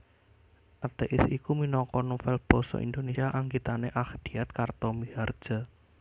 Athèis iku minangka novèl basa Indonesia anggitane Achdiat Karta Mihardja